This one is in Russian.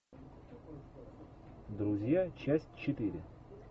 друзья часть четыре